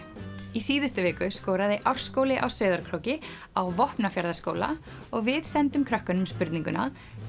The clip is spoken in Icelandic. í síðustu viku skoraði Árskóli á Sauðárkróki á Vopnafjarðarskóla og við sendum krökkunum spurninguna